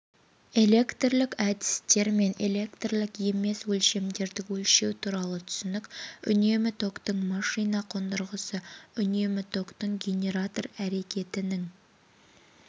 электрлік әдістермен электрлік емес өлшемдерді өлшеу туралы түсінік үнемі токтың машина қондырғысы үнемі токтың генератор әрекетінің